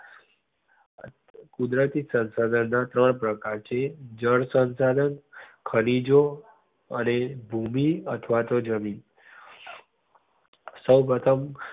કુદરતી શંશાધન ના છ પ્રકાર છે. જળ શંશાધન, ખનીજો, અને ભૂમિ અથવા તો જમીન સૌ પ્રથમ